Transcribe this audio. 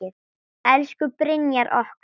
Elsku Brynjar okkar.